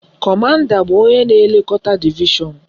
Kọmanda bụ onye na-elekọta divishọn